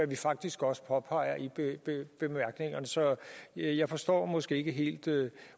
vi faktisk også påpeger i bemærkningerne så jeg jeg forstår måske ikke helt